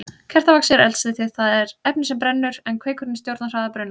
Kertavaxið er eldsneytið, það er efnið sem brennur, en kveikurinn stjórnar hraða brunans.